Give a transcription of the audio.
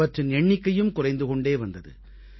அவற்றின் எண்ணிக்கையும் குறைந்து கொண்டே வந்தது